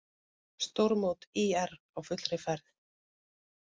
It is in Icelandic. Stórmót ÍR á fullri ferð